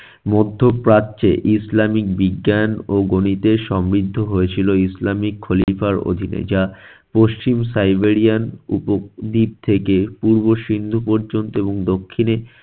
মধ্যপ্রাচ্যে ইসলামিক বিজ্ঞান ও গণিতে সমৃদ্ধ হয়েছিল ইসলামিক খলিফার অধীনে, যা পশ্চিম সাইবেরিয়ান উপদ্বীপ থেকে পূর্ব সিন্ধু পর্যন্ত এবং দক্ষিণে